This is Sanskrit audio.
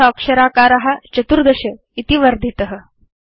अथ अक्षराकार 14 इति वर्धित